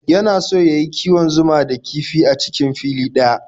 Yana so ya yi kiwon zuma da kifi a cikin fili ɗaya.